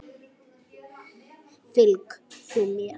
Fylg þú mér.